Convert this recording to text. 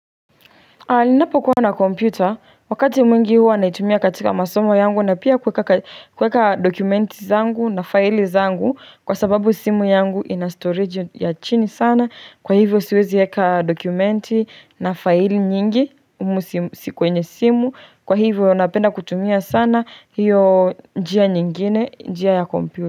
Anapokuwa na computer wakati mwingi huwa naitumia katika masomo yangu na pia kuweka dokumenti zangu na file zangu kwa sababu simu yangu ina storage ya chini sana kwa hivyo siwezi eka dokumenti na file nyingi humu si kwenye simu kwa hivyo napenda kutumia sana hiyo njia nyingine njia ya computer.